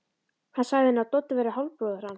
Hann sagði henni að Doddi væri hálfbróðir hans.